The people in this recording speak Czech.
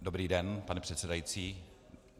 Dobrý den, pane předsedající.